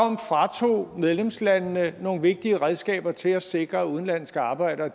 fratog medlemslandene nogle vigtige redskaber til at sikre at udenlandske arbejdere